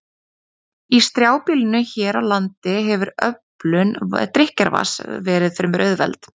Í strjálbýlinu hér á landi hefur öflun drykkjarvatns verið fremur auðveld.